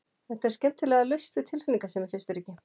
Þetta er skemmtilega laust við tilfinningasemi, finnst þér ekki?